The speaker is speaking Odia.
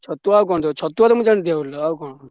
ଛତୁଆ ତ ମୁଁ ଜାଣିଛି already ଆଉ କଣ?